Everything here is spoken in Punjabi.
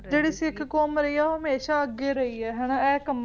ਜਿਹੜੀ ਸਿੱਖ ਕੌਮ ਰਹੀ ਹੈ ਉਹ ਹਮੇਂਸ਼ਾ ਅੱਗੇ ਰਹੀ ਹੈ ਇਹ ਕੰਮਾਂ ਚ